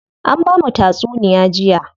An bamu tatsunuya jiya.